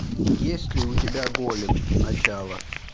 есть ли у тебя голем начало